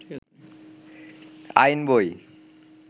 আইন বই